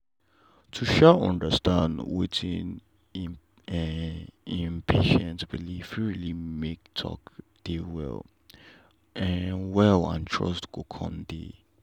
to um understand wetin um patient believe fit really make talk dey well um wel and trust go coun dey.